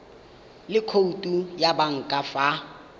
le khoutu ya banka fa